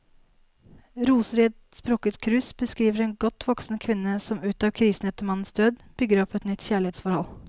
Roser i et sprukket krus beskriver en godt voksen kvinne som ut av krisen etter mannens død, bygger opp et nytt kjærlighetsforhold.